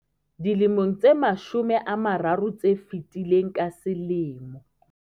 Dilemong tse mashome a mararo tse fetileng, ka selemo